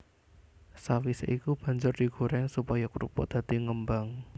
Sawisé iku banjur digoréng supaya krupuk dadi ngembang